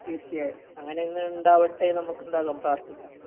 തീർച്ചയായും അങ്ങിനെ ഒന്ന് ഉണ്ടാവട്ടെ നമുക് എന്താകാം പ്രാർത്ഥിക്കാം